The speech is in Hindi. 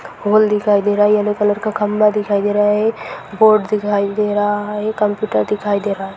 होल दिखाई दे रहा है येलो कलर का खंभा दिखाई दे रहा है बोर्ड दिखाई दे रहा है ये कंप्यूटर दिखाई दे रहा है।